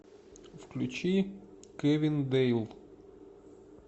включи кэвин дэйл